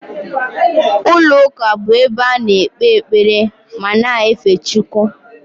Ụlọ ụka bụ ebe a na-ekpe ekpere ma na-efe Chukwu